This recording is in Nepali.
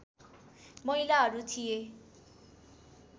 महिलाहरू थिए